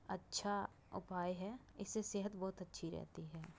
अच्छा उपाय है। इससे सेहत बोहोत अच्छी रहती है।